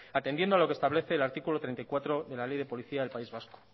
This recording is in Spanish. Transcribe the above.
atendiendo a lo que establece el artículo treinta y cuatro de la ley de policía del país vasco